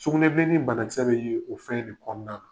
Sugunɛbilenni bana kisɛ bɛ ye o fɛn de kɔnɔna na.